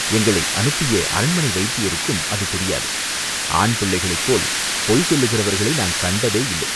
எங்களை அனுப்பிய அரண்மனை வைத்தியருக்கும் அது தெரியாது, ஆண்பிள்ளைகளைப் போல் பொய் சொல்லுகிறவர்களை நான் கண்டதேயில்லை.